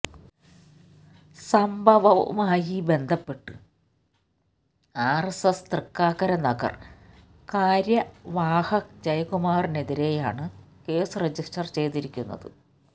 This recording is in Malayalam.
സംഭവവുമായി ബന്ധപ്പെട്ട് ആര്എസ്എസ് തൃക്കാക്കര നഗര് കാര്യവാഹക് ജയകുമാറിനെതിരെയാണ് കേസ് റജിസ്റ്റര് ചെയ്തിരിക്കുന്നത്